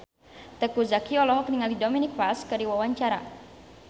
Teuku Zacky olohok ningali Dominic West keur diwawancara